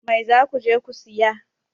Mai za ku je ku saya?